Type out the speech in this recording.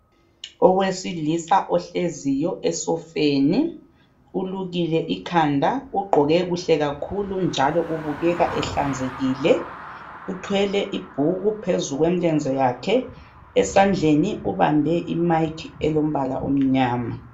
owesilisa ohleziyo esofeni ulukile ikhanda ugqoke kuhle kakhulu njalo ubukeka ehlanzekile uthwele ibhuku phezu kwemilenze yakhe esandleni ubambe i mic elombala omnyama